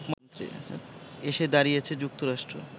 এসে দাঁড়িয়েছে যুক্তরাষ্ট্র